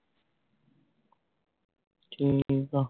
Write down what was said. ਠੀਕ ਆ